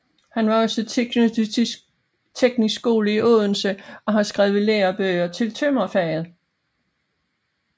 Han var også tilknyttet teknisk skole i Odense og har skrevet lærebøger til tømrerfaget